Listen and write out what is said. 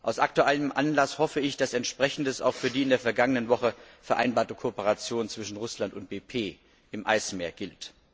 Aus aktuellem Anlass hoffe ich, dass Entsprechendes auch für die in der vergangenen Woche vereinbarte Kooperation zwischen Russland und BP im Eismeer gilt.